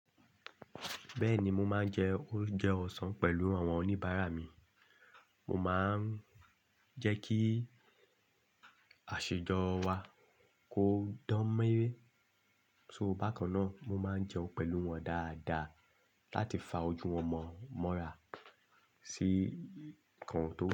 Bẹ́ẹ̀ni, mo máa ń jẹ oúnjẹ ọ̀sán pẹ̀lú àwọn oníbàárà mi. Mo máa ń jẹ́ kí àṣejọ wa kó dánméré. So bákan náà, mo máa ń jẹun pẹ̀lú wọn dáadáa láti fa ojú wọn mọ́ra sí nǹkan tó péye.